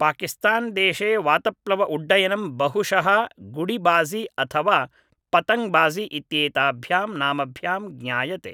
पाकिस्तान्देशे वातप्लव उड्डयनं बहुशः गुडिबाज़ि अथवा पतङ्ग् बाज़ि इत्येताभ्यां नामभ्यां ज्ञायते